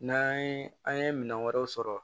N'an ye an ye minɛn wɛrɛw sɔrɔ